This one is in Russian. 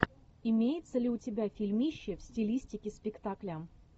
имеется ли у тебя фильмище в стилистике спектакля